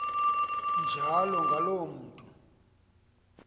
njalo ngaloo mntu